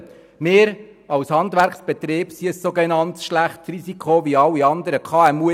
In meiner beruflichen Tätigkeit bin ich mit einem Handwerksbetrieb ein sogenannt schlechtes Risiko wie auch alle anderen KMU.